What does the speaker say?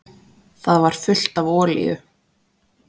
Það var fullt af olíu.